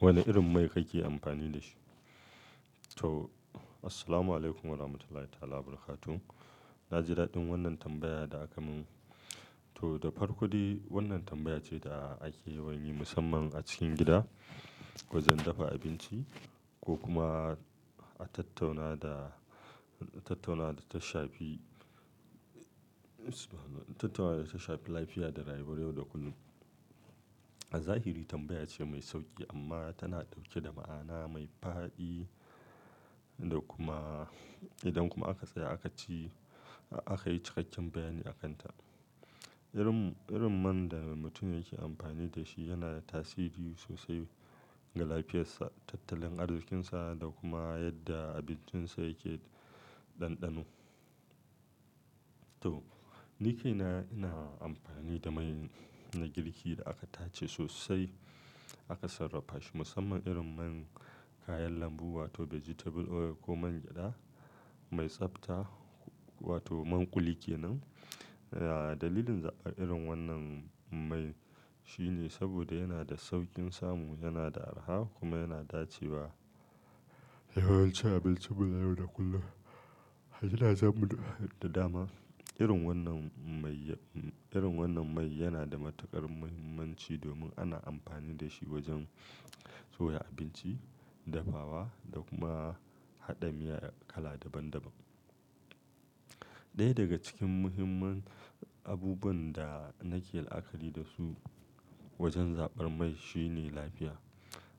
Wane irin mai kake amfani da shi? To, Assalamu alaikum warahmatullahi wabarakatuh. Na ji daɗin wannan tambaya da aka mun. To! Da farko dai wannan tambaya ce da ake yawan yi musamman a cikin gida wajen dafa abinci ko kuma a tattauna da, tattauna da ta shafi tattauna da ta shafi lafiya da rayuwar yau da kullum. A zahiri tambaya ce mai sauƙi amma tana ɗauke da ma'ana mai fadi da kuma-- idan kuma aka tsaya aka ci, aka yi cikakken bayani a kan ta. Irin, irin man da mutum yake amfani da shi yana da tasiri sosai ga lafiyarsa, tattalin arzikinsa da kuma yadda abincinsa yake ɗanɗano. To! Ni kaina ina amfani da mai na girki da aka tace sosai aka sarrafashi musamman irin mai na kayan lambu wato vegetable oil ko man gyada mai tsabta wato man kuli ke nan. Dalilin zaɓar irin wannan mai shine saboda yana da sauƙin samu, yana da arha kuma yana dace a yawancin abinci na yau da kullum. Yana zamu da dama. Irin wannan manya-- irin wannan mai yana da matuƙar muhimmanci domin ana amfani da shi wajen soya abinci, dafawa da kuma haɗa miya kala daban-daban. Ɗaya daga cikin muhimman abubuwan da nake la'akari da su wajen zaɓar man shine lafiya.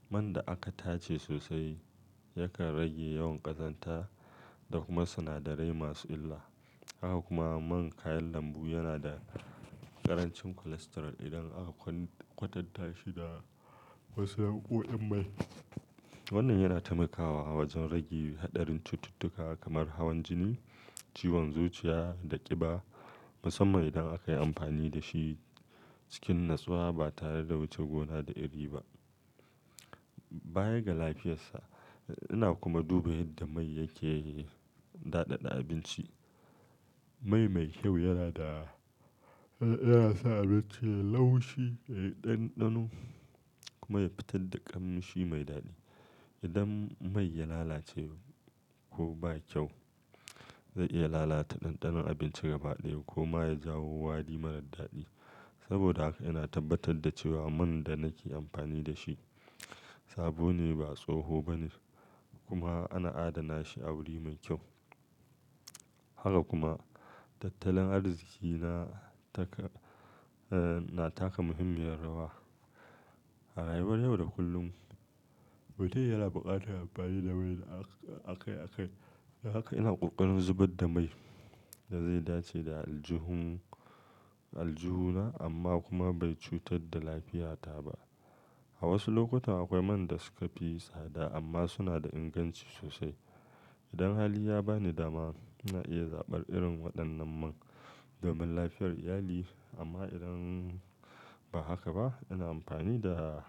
Man da aka tace sosai yakan rage yawan ƙazanta da kuma sinadarai masu illa. Haka kuma man kayan lambu yana da ƙarancin cholesterol idan aka kwatanta shi da wasu yan nau'o'in mai. Wannan yana taimakawa wajen rage haɗarin cututtuka kamar hawan jini, ciwon zuciya da ƙiba musamman idan aka yi amfani da shi cikin natsuwa ba tare da wuce gona da iri ba. Baya ga lafiyarsa, ina kuma duba yadda mai yake daɗaɗa abinci. Mai me kyau yana da, yana sa abinci ya yi laushi, yayi ɗanɗano kuma ya fitar da ƙamshi mai daɗi. Idan mai ya lalace ko ba kyau, zai iya lalata ɗanɗanon abinci gaba ɗaya ko ma ya jawo wari marar daɗi. Saboda haka ina tabbatar da cewa man da nake amfani da shi sabo ne ba tsoho ba ne kuma ana adana shi a wuri mai kyau. Haka kuma tattalin arziki na taka, na taka muhimmiyar rawa a rayuwar yau da kullum. Mutum yana buƙatar bayar da mai da aka, aka yi. Haka ina kokarin zabar mai da zai dace da aljihu, aljihuna amma kuma bai cutar da lafiyata ba. A wasu lokutan akwai man da suka fi tsada amma suna da inganci sosai. Idan hali ya ba ni dama, ina iya zaɓar irin waɗannan mai domin lafiyar iyali. Amma idan ba haka ba, ina amfani da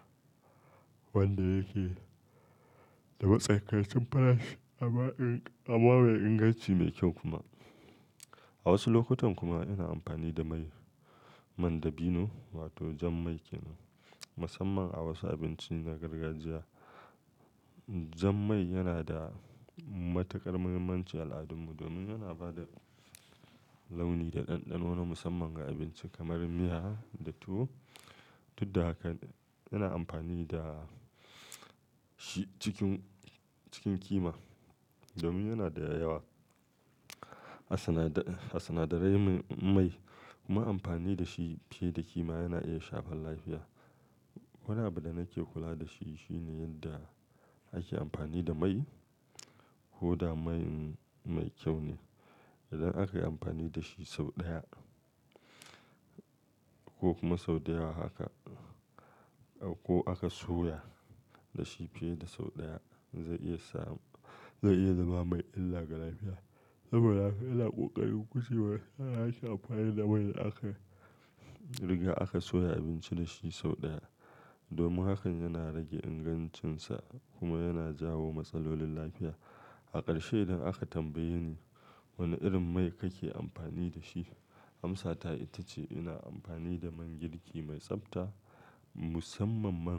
wanda yake da matsakai cin farashi amma mai inganci mai kyau kuma. A wasu lokutan kuma ina amfani da ma, man dabino wato jan man ke nan musamman a wasu abinci na gargajiya. Jan mai yana da matuƙar muhimmanci a al'adun mu domin yana ba da launi da ɗanɗano na musamman ga abinci kamar miya da tuwo. Duk da hakan yana amfani da shi cikin, cikin kima domin yana da yawa. A sinadarai ne, mai, nai amfani da shi fiye da kima yana iya shafar lafiya. Wane abin da nake kula da shi shine yadda ake amfani da mai ko da mai kyau ne. Idan aka yi amfani da shi sau ɗaya ko kuma sau da yawa haka ko aka soya da shi fiye da sau ɗaya, zai iya sa, zai iya zama mai illa ga lafiya. Saboda haka ina ƙoƙarin gujewa yarana a fara da mai da aka riga aka soya abinci da shi sau ɗaya domin hakan yana rage ingancinsa kuma yana jawo matsalolin lafiya. Hakarshe idan aka tambaye ni wane irin mai kake amfani da shi, amsata ita ce ina amfani da mai girki mai tsabta musamman mai-